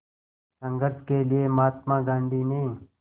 संघर्ष के लिए महात्मा गांधी ने